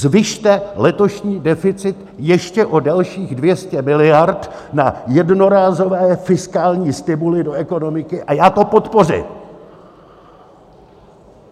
Zvyšte letošní deficit ještě o dalších 200 miliard na jednorázové fiskální stimuly do ekonomiky a já to podpořím!